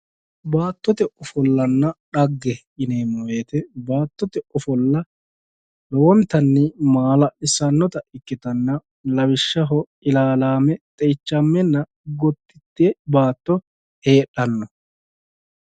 Baattote ofollanna dhaggese yineemmo woyte baattote ofolla lowontanni maala'lisanotta ikkittanna lawishshaho ilalame, xeichame gotite baatto heedhanno.